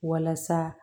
Walasa